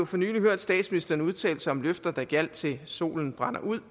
for nylig hørt statsministeren udtale sig om løfter der gjaldt til solen brænder ud